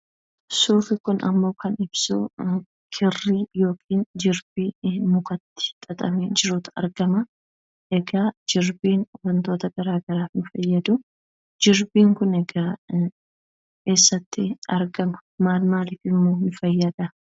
Suurri kunimmoo kan ibsu kirrii yookiin jirbii mukatti xaxamee jirutu argama. Egaa jirbiin wantoota garaagaraaf nu fayyadu. Jirbiin kun egaa eessatti argama? maal maaliifimmoo nu fayyada?